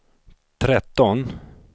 tretton